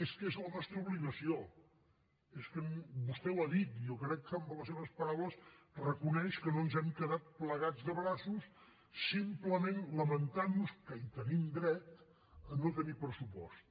és que és la nostra obligació vostè ho ha dit jo crec que amb les seves paraules reconeix que no ens hem quedat plegats de braços simplement lamentant nos que hi tenim dret de no tenir pressupost